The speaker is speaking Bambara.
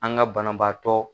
An ka banabaatɔ